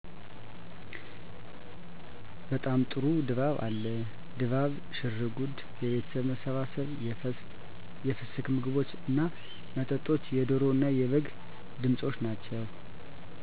በጣም ጥሩ ድባብ አለ። ድባቡ፤ ሽርጉዱ፤ የቤተሠብ መሠባሠብ፤ የፍስክ ምግቦች እና መጠጦች፤ የደሮ እና የበግ ድምፆች ናቸው።